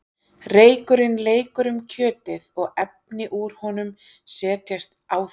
Reykurinn leikur um kjötið og efni úr honum setjast á það.